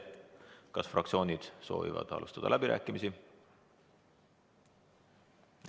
Kas fraktsioonid soovivad alustada läbirääkimisi?